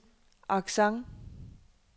accent